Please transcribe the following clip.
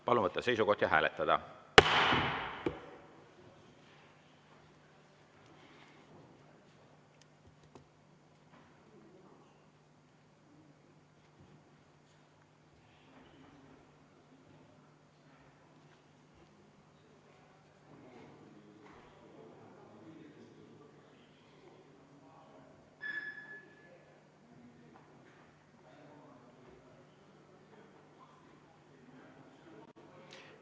Palun võtta seisukoht ja hääletada!